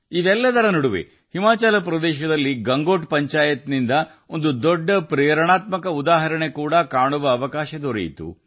ಇದೆಲ್ಲದರ ಮಧ್ಯೆ ಹಿಮಾಚಲ ಪ್ರದೇಶದ ಗಂಗೋಟ್ ಪಂಚಾಯತ್ನಲ್ಲಿ ಒಂದು ದೊಡ್ಡ ಸ್ಫೂರ್ತಿದಾಯಕ ಉದಾಹರಣೆಯೂ ಕಂಡುಬಂದಿದೆ